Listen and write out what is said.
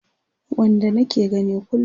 Wanda nake gani kullum